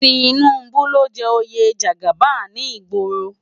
Tinubu ló n jè óyé jàgábán ni igbòró